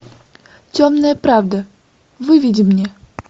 темная правда выведи мне